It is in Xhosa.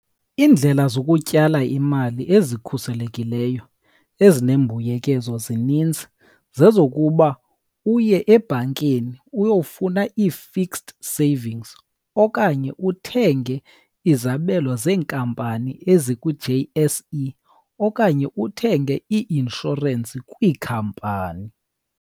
Iindlela zokutyala imali ezikhuselekileyo ezinembuyekezo zininzi. Zezokuba uye ebhankini uyofuna i-fixed savings, okanye uthenge izabelo zeenkampani ezikwi-J_S_E, okanye uthenge i-inshorensi kwikhampani.